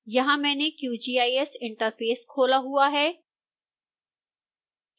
यहां मैंने qgis interface खोला हुआ है